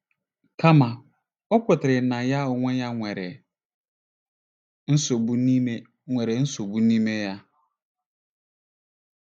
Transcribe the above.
Kama, ọ kwetara na ya onwe ya nwere nsogbu n'ime nwere nsogbu n'ime ya.